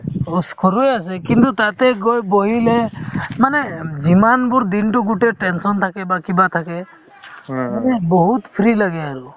কিন্তু তাতে গৈ বহিলে মানে যিমানবোৰ দিনতো গুতেই tension থাকে বা কিবা থাকে মানে বহুত free লাগে আৰু